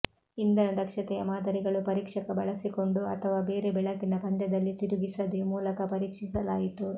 ಇಂಧನ ದಕ್ಷತೆಯ ಮಾದರಿಗಳು ಪರೀಕ್ಷಕ ಬಳಸಿಕೊಂಡು ಅಥವಾ ಬೇರೆ ಬೆಳಕಿನ ಪಂದ್ಯದಲ್ಲಿ ತಿರುಗಿಸದೇ ಮೂಲಕ ಪರೀಕ್ಷಿಸಲಾಯಿತು